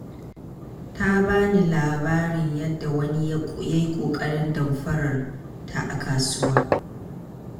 Ta ba ni labarin yadda wani ya yi ƙoƙarin damfarar ta a kasuwa.